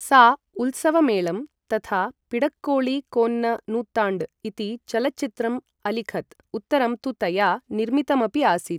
सा उल्सवमेळं तथा पिडक्कोळि कोन्न नूत्ताण्ड् इति चलच्चित्रम् अलिखत्, उत्तरं तु तया निर्मितम् अपि आसीत्।